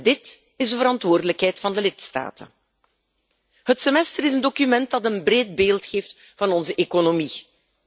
Dit is de verantwoordelijkheid van de lidstaten. Het semester is een document dat een breed beeld geeft van onze economie.